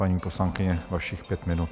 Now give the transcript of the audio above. Paní poslankyně, vašich pět minut.